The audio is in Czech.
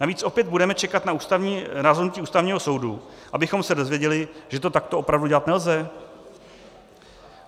Navíc opět budeme čekat na rozhodnutí Ústavního soudu, abychom se dozvěděli, že to takto opravdu dělat nelze?